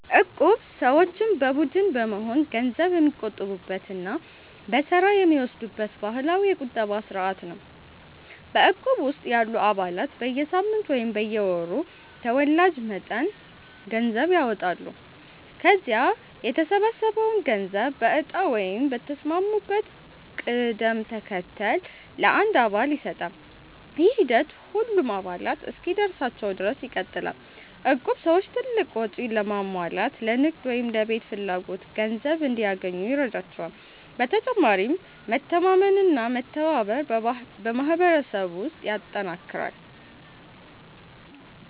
እቁብ ሰዎች በቡድን በመሆን ገንዘብ የሚቆጥቡበት እና በተራ የሚወስዱበት ባህላዊ የቁጠባ ስርዓት ነው። በእቁብ ውስጥ ያሉ አባላት በየሳምንቱ ወይም በየወሩ ተወላጅ መጠን ገንዘብ ያዋጣሉ። ከዚያ የተሰበሰበው ገንዘብ በእጣ ወይም በተስማሙበት ቅደም ተከተል ለአንድ አባል ይሰጣል። ይህ ሂደት ሁሉም አባላት እስኪደርሳቸው ድረስ ይቀጥላል። እቁብ ሰዎች ትልቅ ወጪ ለማሟላት፣ ለንግድ ወይም ለቤት ፍላጎት ገንዘብ እንዲያገኙ ይረዳቸዋል። በተጨማሪም መተማመንና መተባበርን በማህበረሰብ ውስጥ ያጠናክራል።